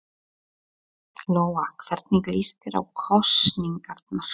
Lóa: Hvernig líst þér á kosningarnar?